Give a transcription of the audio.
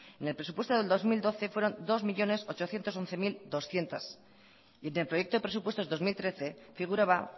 en el presupuesto del dos mil doce fueron dos millónes ochocientos once mil doscientos y en el proyecto de presupuestos dos mil trece figuraba